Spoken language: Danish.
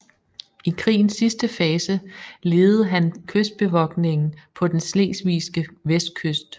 I krigens sidste fase ledede han kystbevogtningen på den slesvigske vestkyst